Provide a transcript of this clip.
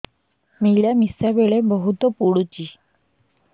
ମିଳାମିଶା ବେଳେ ବହୁତ ପୁଡୁଚି